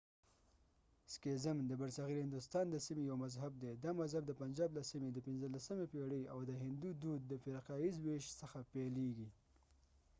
سکیزم د برصغیر هندوستان د سیمې یو مذهب دی دا مذهب د پنجاب له سیمې د 15 پیړۍ او د هندو دود د فرقه ییز وېش څخه پيلېږي